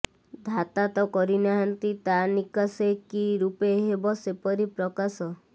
ଧାତା ତ କରିନାହିଁ ତା ନିକାଶେ କି ରୂପେ ହେବ ସେପରି ପ୍ରକାଶ